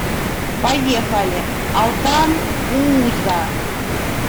поехали алтан бууза